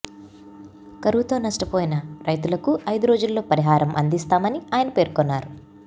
కరవుతో నష్టపోయిన రైతులకు ఐదు రోజుల్లో పరిహారం అందిస్తామని ఆయన పేర్కొన్నారు